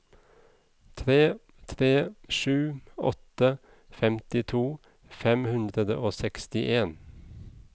tre tre sju åtte femtito fem hundre og sekstien